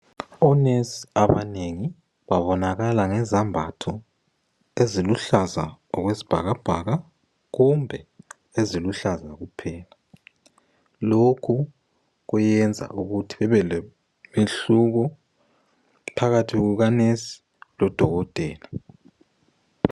Onesi abanengi babonakala ngezambatho eziluhlaza okwesibhakabhaka kumbe eziluhlaza kuphela. Lokhu kuyenza ukuthi bebelomehluko, phakathi kukanesi lodokotela.